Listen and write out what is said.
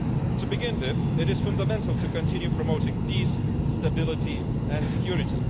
To begin with, it is fundamental to continue promoting peace, stability and security.